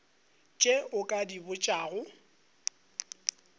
tše o ka di botšago